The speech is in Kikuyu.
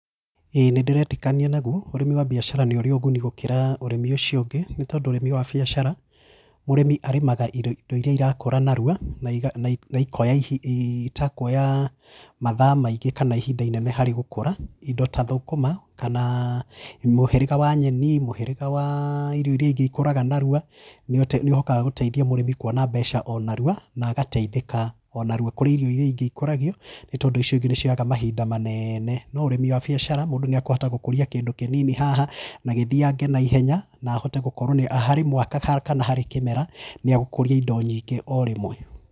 ĩĩ nĩ ndĩretĩkania naguo, ũrĩmĩ wa mbiashara nĩ ũrĩ ũguni gũkĩra ũrĩmi ũrĩmi ũcio ũngĩ, nĩ tondũ ũrĩmi wa biashara, mũrĩmi arĩmaga irio indo iria irakũra narua naiga nai naikoya ihi na itakuoyaa mathaa maingĩ kana ihinda inene harĩ gũkũra, indo ta thũkũma kana aah mũhĩrĩga wa nyeni, mũhĩrĩga wa irio iria ingĩ ikũraga narua, nĩũte nĩũhotaga gũteithia mũrĩmi kwona mbeca o narua, na agateithĩka o narua. Kũrĩ irio iria ingĩ ikũragio nĩ tondũ icio ingĩ nĩ cioyaga mahinda manene, no ũrĩmĩ wa biashara, mũndũ nĩakũhota gũkuria kĩndũ kĩnini haha na gĩthiange naihenya na ahote gũkorwo nĩ harĩ mwaka kana harĩ kĩmera, nĩ agũkũria indo nyingĩ o rĩmwe